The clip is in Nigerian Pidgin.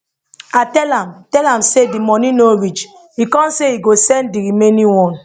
i tell i tell am say di money no reach e con say e go send di remaining one